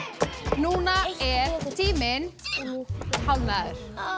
núna er tíminn hálfnaður